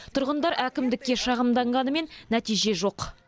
тұрғындар әкімдікке шағымданғанымен нәтиже жоқ